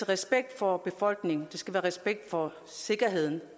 respekt for befolkningen det skal være i respekt for sikkerheden